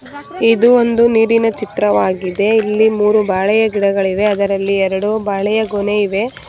ಇದು ಒಂದು ನೀರಿನ ಚಿತ್ರವಾಗಿದೆ ಇಲ್ಲಿ ಮೂರು ಬಾಳೆಯ ಗಿಡಗಳು ಇವೆ ಅದರಲ್ಲಿ ಎರಡು ಬಾಳೆಯ ಗೊನೆ ಇವೆ.